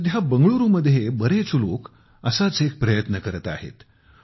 आजकाल बंगळुरूमध्ये बरेच लोक असेच प्रयत्न करत आहेत